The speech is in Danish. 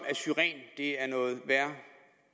at er noget værre